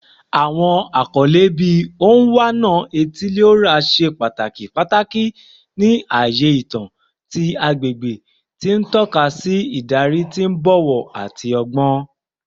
Awọn akọle bii “Onwa-na-etili-ora” ṣe pataki pataki ni aaye itan ti agbegbe, ti n tọka si idari ti o bọwọ ati ọgbọn.